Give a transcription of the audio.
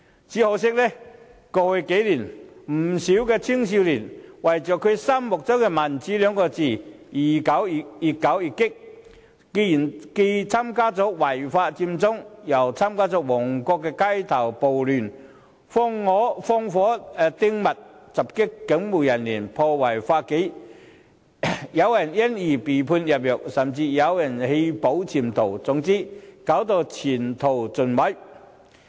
只可惜，過去數年有不少青年人為了他們心中的民主二字，越搞越激，既參與違法佔中，又參與旺角街頭暴亂，放火擲物，襲擊警務人員，破壞法紀，有人因而被判入獄，有人甚至棄保潛逃，前途盡毀。